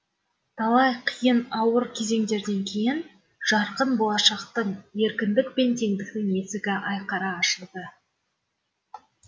талай қиын ауыр кезеңдерден кейін жарқын болашақтың еркіндік пен теңдіктің есігі айқара ашылды